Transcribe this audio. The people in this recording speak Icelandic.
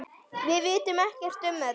Við vitum ekkert um þetta.